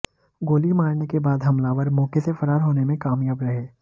गोली मारने के बाद हमलावार मौके से फरार होने में कामयाब रहे